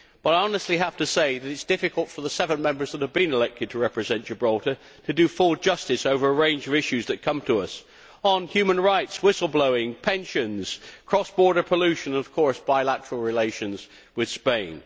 But I honestly have to say that it is difficult for the seven Members who have been elected to represent Gibraltar to do full justice over the range of issues that come to us human rights, whistle blowing, pensions, cross border pollution and, of course, bilateral relations with Spain.